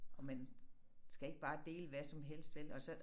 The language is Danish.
Og man skal ikke bare dele hvad som helst vel og så